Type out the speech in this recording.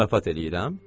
Zarafat eləyirəm.